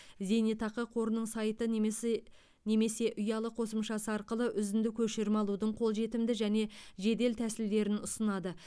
зейнетақы қорының сайты немесе немесе ұялы қосымшасы арқылы үзінді көшірме алудың қолжетімді және жедел тәсілдерін ұсынады